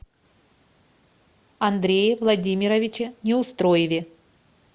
андрее владимировиче неустроеве